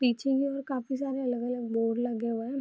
पीछे की ओर काफ़ी सारे अलग-अलग बोर्ड लगे हुए हैं।